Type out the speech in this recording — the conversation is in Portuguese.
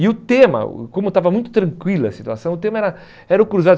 E o tema, o como estava muito tranquila a situação, o tema era era o cruzado.